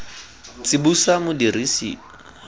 tsibosa modirisi wa tsela yo